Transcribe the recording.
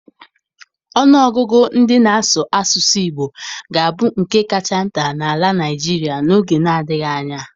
Ọnụ ọgụgụ ndị ná asụ asụsụ Igbo ga-abu nkè kacha nta na àlà Naịjirịa n'oge na-adịghị anya.